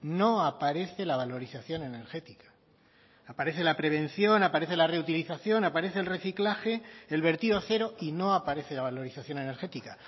no aparece la valorización energética aparece la prevención aparece la reutilización aparece el reciclaje el vertido cero y no aparece la valorización energética